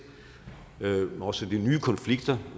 også de nye konflikter